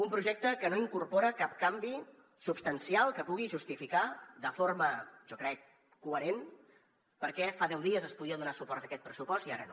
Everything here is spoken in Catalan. un projecte que no incorpora cap canvi substancial que pugui justificar de forma jo crec coherent per què fa deu dies es podia donar suport a fer aquest pressupost i ara no